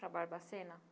Para Barbacena?